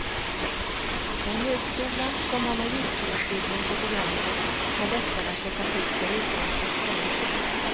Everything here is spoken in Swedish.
En högskola som har magisterutbildning på programmet har lättare att locka till sig utländska studenter.